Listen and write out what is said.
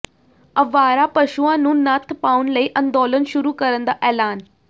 ਅਵਾਰਾ ਪਸ਼ੂਆਂ ਨੂੰ ਨੱਥ ਪਾਉਣ ਲਈ ਅੰਦੋਲਨ ਸ਼ੁਰੂ ਕਰਨ ਦਾ ਐਲਾਨ